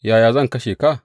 Yaya zan kashe ka?